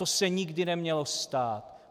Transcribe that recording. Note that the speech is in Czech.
To se nikdy nemělo stát.